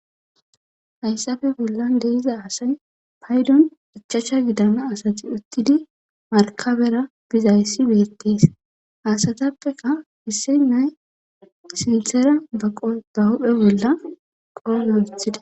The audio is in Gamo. Hayssafe bollan deiza asay paydon hichacha gidama asati uttidi markabera bizayssi beettees hasatappeka hisse nay sinthera baqo ba huphe bolla qoona ithida.